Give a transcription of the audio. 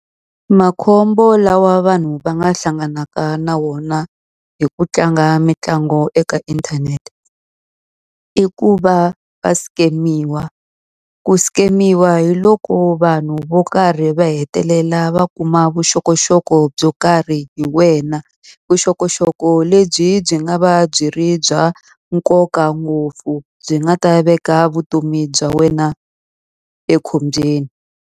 Makhombo lawa vanhu va nga hlanganaka na wona hi ku tlanga mitlangu eka inthanete, i ku va va scam-iwa. Ku scam-iwa hi loko vanhu vo karhi va hetelela va kuma vuxokoxoko byo karhi hi wena. Vuxokoxoko lebyi byi nga va byi ri bya nkoka ngopfu, byi nga ta veka vutomi bya wena ekhombyeni.